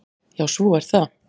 Já, svo er það.